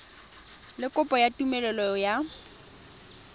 le kopo ya tumelelo ya